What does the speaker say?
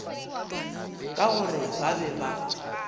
ka gore ba be ba